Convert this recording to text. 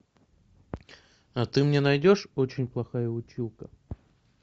а ты мне найдешь очень плохая училка